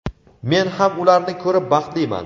men ham ularni ko‘rib baxtliman.